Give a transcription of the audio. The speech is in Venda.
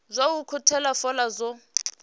zwa u ukhuthela fola zwo